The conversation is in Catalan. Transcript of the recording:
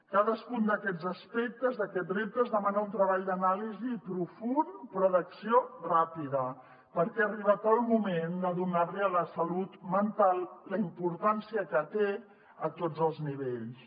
cadascun d’aquests aspectes d’aquests reptes demana un treball d’anàlisi profund però d’acció ràpida perquè ha arribat el moment de donar li a la salut mental la importància que té a tots els nivells